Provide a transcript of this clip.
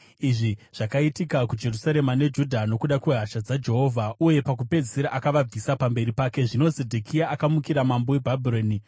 Izvi zvakaitika kuJerusarema neJudha nokuda kwehasha dzaJehovha, uye pakupedzisira akavabvisa pamberi pake. Zvino Zedhekia akamukira mambo weBhabhironi.